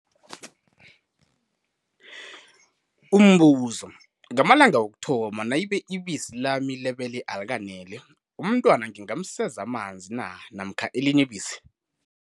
Umbuzo- Ngamalanga wokuthoma, nayibe ibisi lami lebele alikaneli, umntwana ngingamseza amanzi na namkha elinye ibisi?